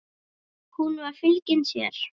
Hún var fylgin sér.